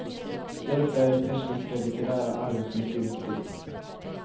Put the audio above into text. Därför är det persiska litterära arvet mycket viktigt.